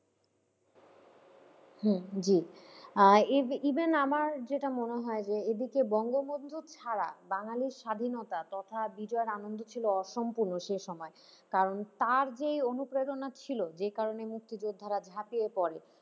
হম জি আহ even আমার যেটা মনেহয় যে এদিকে বঙ্গবন্ধু ছাড়া বাঙালির স্বাধীনতা তথা বিজয়ের আনন্দ ছিল অসম্পূর্ণ সে সময় কারণ তার যে অনুপ্রেরণা ছিল যে কারণে মুক্তিযোদ্ধারা ঝাঁপিয়ে পড়ে।